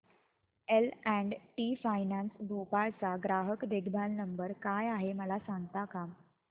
L and T finance Bhopal चा ग्राहक देखभाल नंबर काय आहे मला सांगता का